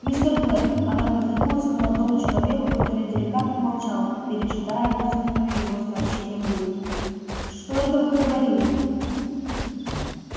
мистер блэк она повернулась к молодому человеку который деликатно молчал пережидая вызванную его сообщением бурю что это вы говорили